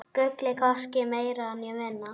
Gullið, hvorki meira né minna.